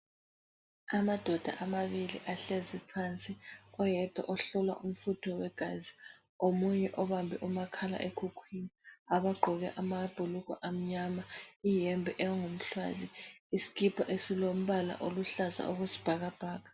Amadoda amabili ahleziphansi, oyedwa ohlolwa umfutho wegazi, omunye obambe umakhala ekhukhwini. Abagqoke amabhulugwe amnyama ,ihembe engumhlwazi, isikipa esilombala oluhlaza okwesibhakabhaka.